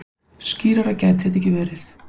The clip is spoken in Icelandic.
Skýrara gæti þetta ekki verið.